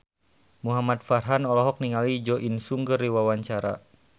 Muhamad Farhan olohok ningali Jo In Sung keur diwawancara